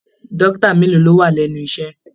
Dókítà mélòó lọ wà lẹnu iṣẹ?